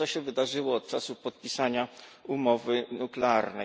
Lecz co się wydarzyło od czasu podpisania umowy nuklearnej?